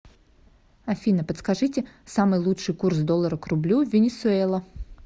афина подскажите самый лучший курс доллара к рублю в венесуэла